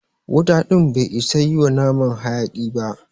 Wuta ɗin bai isa yi wa naman haƴaki ba.